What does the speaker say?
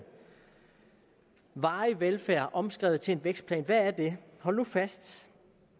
varig velfærd omskrevet til en vækstplan hold nu fast